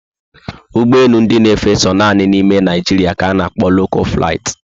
Ụgbọelu ndị na efe so nanị ná ime Naijiria ka ana kpo 'local flight'